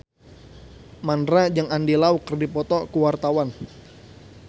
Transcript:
Mandra jeung Andy Lau keur dipoto ku wartawan